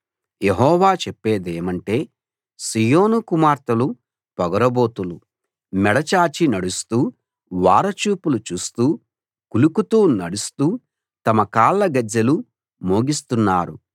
యెహోవా చెప్పేదేమంటే సీయోను కుమార్తెలు పోగరుబోతులు మెడ చాచి నడుస్తూ ఓర చూపులు చూస్తూ కులుకుతో నడుస్తూ తమ కాళ్ల గజ్జెలు మోగిస్తున్నారు